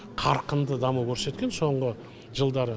қарқынды даму көрсеткен соңғы жылдары